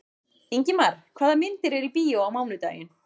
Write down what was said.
Ingimar, hvaða myndir eru í bíó á mánudaginn?